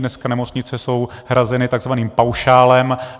Dneska nemocnice jsou hrazeny tzv. paušálem.